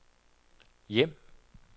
hjem